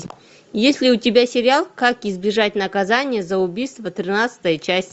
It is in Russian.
есть ли у тебя сериал как избежать наказания за убийство тринадцатая часть